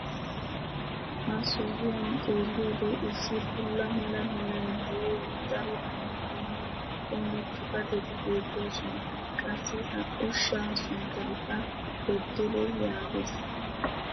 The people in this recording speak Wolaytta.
ha sohuwan xeelliyoode issi bulla mala meray de'iyo daro dumma dumma qommo xifateti beetoosona. qassi ha ushshaa sunttaykka bedele yaagees.